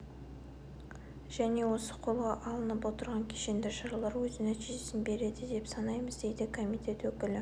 және осы қолға алынып отырған кешенді шаралар өз нәтижесін береді деп санаймыз дейді комитет өкілі